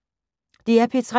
DR P3